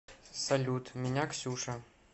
салют меня ксюша